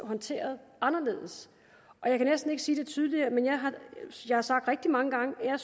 håndteret anderledes og jeg kan næsten ikke sige det tydeligere og jeg har sagt rigtig mange gange at